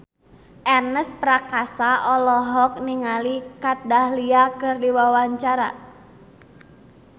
Ernest Prakasa olohok ningali Kat Dahlia keur diwawancara